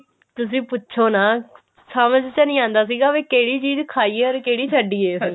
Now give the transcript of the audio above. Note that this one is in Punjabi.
ਤੁਸੀਂ ਪੁੱਛੋ ਨਾ ਸਮਝ ਚ ਨਹੀ ਆਉਂਦਾ ਸੀਗਾ ਕਿਹੜੀ ਚੀਜ਼ ਖਾਈਏ or ਕਿਹੜੀ ਛੱਡੀਏ